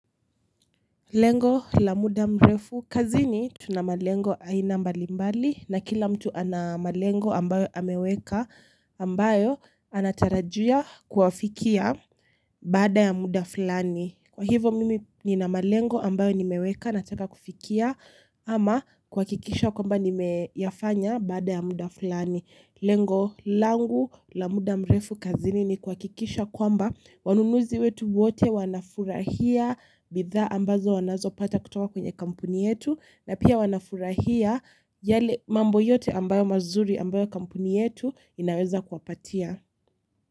Lengo la muda mrefu kazini tuna malengo aina mbalimbali na kila mtu ana malengo ambayo ameweka ambayo anatarajia kuwafikia baada ya muda fulani. Kwa hivo mimi nina malengo ambayo nimeweka nataka kufikia ama kuhakikisha kwamba nimeyafanya baada ya muda fulani. Lengo langu la muda mrefu kazini ni kuhakikisha kwamba wanunuzi wetu wote wanafurahia bidhaa ambazo wanazopata kutoka kwenye kampuni yetu na pia wanafurahia yale mambo yote ambayo mazuri ambayo kampuni yetu inaweza kuwapatia.